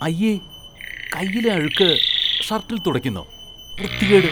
അയ്യേ. കൈയിലെ അഴുക്ക് ഷര്‍ട്ടില്‍ തുടയ്ക്കുന്നോ, വൃത്തികേട്.